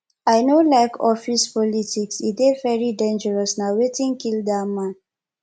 i no like office politics e dey very dangerous na wetin kill dat man